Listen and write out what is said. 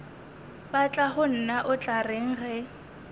batlagonna o tla reng ge